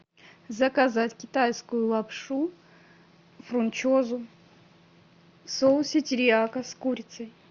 заказать китайскую лапшу фунчозу в соусе терияки с курицей